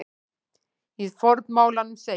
Í formálanum segir